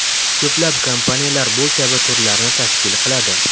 Ko‘plab kompaniyalar bu kabi turlarni tashkil qiladi.